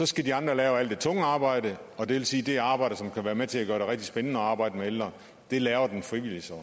skal de andre lave alt det tunge arbejde og det vil sige at det arbejde som kan være med til at gøre det rigtig spændende at arbejde med ældre laver den frivillige så